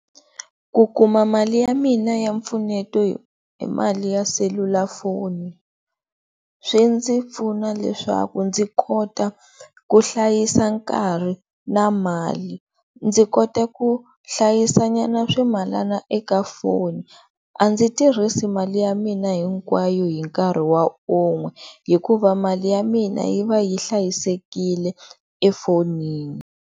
Ku kuma mali ya mina ya mpfuneto hi mali ya selulafoni swi ndzi pfuna leswaku ndzi kota ku hlayisa nkarhi na mali ndzi kota ku hlayisa nyana swimalana eka foni a ndzi tirhisi mali ya mina hinkwayo hi nkarhi wa un'we hikuva mali ya mina yi va yi hlayisekile e fonini.